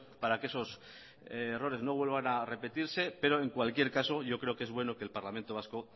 para que esos errores no vuelvan a repetirse pero en cualquier caso yo creo que es bueno que el parlamento vasco